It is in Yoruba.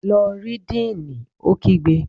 Lọ rí díìnì! Ó kígbe.